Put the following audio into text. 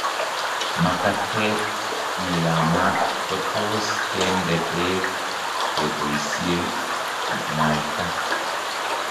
Makateet ne yaamat kotos' ke nde peek keboisie ng'waita.